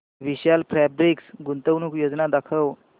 विशाल fabrics गुंतवणूक योजना दाखव